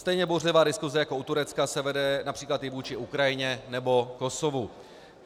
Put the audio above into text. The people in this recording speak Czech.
Stejně bouřlivá diskuse jako u Turecka se vede například i vůči Ukrajině nebo Kosovu.